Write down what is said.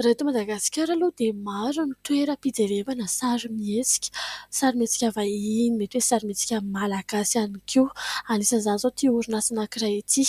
Raha eto Madagasikara aloha dia maro ny toeram-pijerevana sarimihetsika : sarimihetsika vahiny, mety hoe sarimihetsika malagasy ihany koa. Anisan'izany izao ity orinasa anankiray ity.